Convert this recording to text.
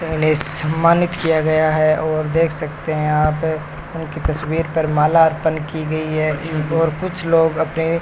इन्हें सम्मानित किया गया है और देख सकते हैं आप उनकी तस्वीर पर माला अर्पण की गई है इन और कुछ लोग अपने --